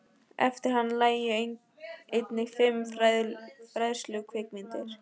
Eftir hann lægju einnig fimm fræðslukvikmyndir.